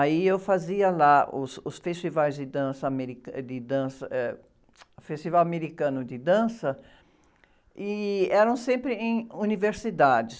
Aí eu fazia lá os, os festivais de dança ameri, de dança, eh, o Festival Americano de Dança, e eram sempre em universidades.